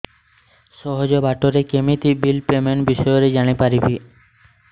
ସହଜ ବାଟ ରେ କେମିତି ବିଲ୍ ପେମେଣ୍ଟ ବିଷୟ ରେ ଜାଣି ପାରିବି